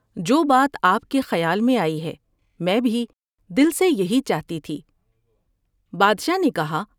جو بات آپ کے خیال میں آئی ہے میں بھی دل سے یہی چاہتی تھی '' بادشاہ نے کہا ۔